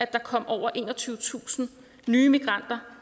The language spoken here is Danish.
der kom over enogtyvetusind nye migranter